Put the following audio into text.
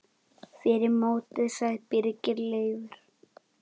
Fyrir mótið sagði Birgir Leifur.